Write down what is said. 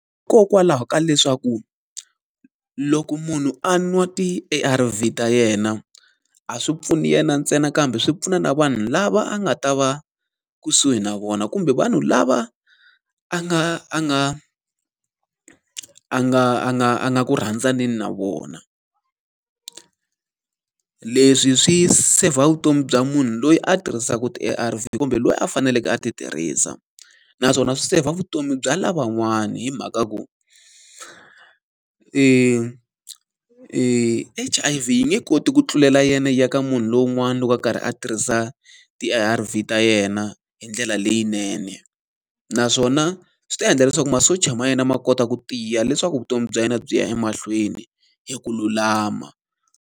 Hikokwalaho ka leswaku, loko munhu a nwa ti-A_R_V ta yena, a swi pfuni yena ntsena kambe swi pfuna na vanhu lava a nga ta va kusuhi na vona kumbe vanhu lava a nga a nga a nga a nga a nga ku rhandzaneni na vona. Leswi swi seyivha vutomi bya munhu loyi a tirhisaka ti-A_R_V kumbe loyi a faneleke a ti tirhisa. Naswona swi seyivha vutomi bya lavan'wani hi mhaka ku, H_I_V yi nge koti ku tlulela yena ya ka munhu lowun'wana loko a karhi a tirhisa ti-A_R_V ta yena hi ndlela leyinene. Naswona swi ta endla leswaku masocha ma yena ma kota ku tiya leswaku vutomi bya yena byi ya emahlweni hi ku lulama.